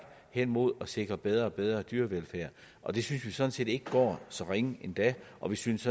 hen mod at sikre bedre og bedre dyrevelfærd og det synes vi sådan set ikke går så ringe endda og vi synes